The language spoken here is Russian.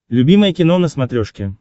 любимое кино на смотрешке